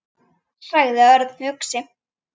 sagði Örn hugsi.